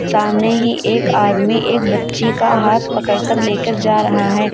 सामने ही एक आदमी एक बच्ची का हाथ पकड़ कर लेकर जा रहा है।